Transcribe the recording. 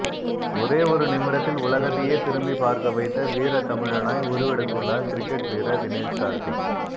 ஒரே ஒரு நிமிடத்தில் உலகத்தையே திரும்பி பார்க்க வைத்த வீரத்தமிழனாய் உருவெடுத்துள்ளார் கிரிக்கெட் வீரர் தினேஷ் கார்த்திக்